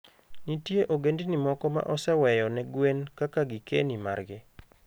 Nitie ogendini moko ma oseweyo ne gwen kaka gikeni margi.